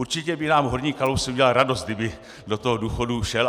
Určitě by nám horník Kalousek udělal radost, kdyby do toho důchodu šel.